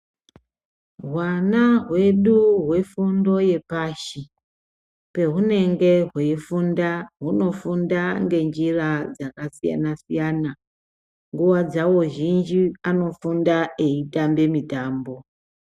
Hwana hwedu hwefundo yepashi pehunenge hweifunda hunofunda ngenjira dzakasiyana siyana nguwa dzawo zhinji anofunda eitamba mitambo.